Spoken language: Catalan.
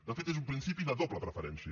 de fet és un principi de doble preferència